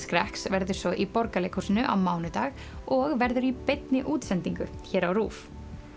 skrekks verður svo í Borgarleikhúsinu á mánudag og verður í beinni útsendingu á RÚV